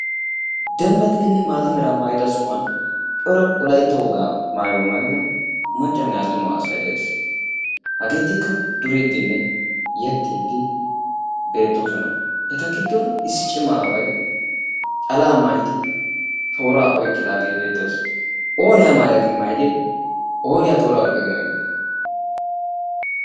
embbatidinne maata mera maayida sohuwwa cora Wolaytta maayuwaa maayyidi maccanne attumay beettees. hagetikka duridinne yeexxidi beettoosona. eta gidon issi cimma aaway calaa maayyidi toora oyqqidagee beettees. onni amaayya gin maayyide? ooni a iyqqa gin oyqqide?